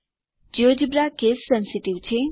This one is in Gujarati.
જિયોજેબ્રા કેસ સેન્સીટીવ છે